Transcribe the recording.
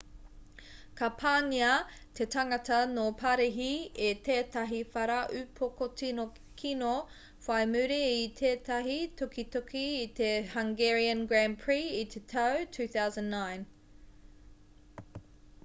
ka pāngia te tangata no parihi e tētahi whara upoko tino kino whai muri i tētahi tukituki i te hungarian grand prix i te tau 2009